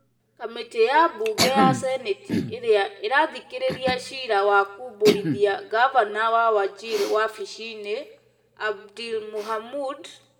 Kamĩtĩ ya mbunge ya seneti ĩrĩa ĩrathikĩrĩria ciira wa kũmbũrithia mgavana wa Wajir wabici-nĩ, Abdi Mohamud,